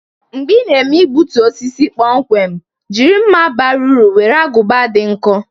Mgbe ị na-eme igbutu osisi kpomkwem, jiri mma bara uru nwere agụba dị nkọ.